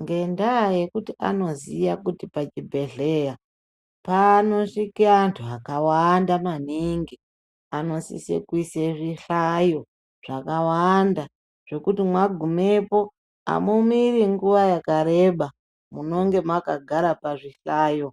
Ngendaa yekuti anoziya kuti pachibhedhleya panosvike antu akawanda maningi anosise kuise zvihlayo zvakawanda zvekuti mwagumepo amumiri nguva yakareba munonga makagara pazvihlayo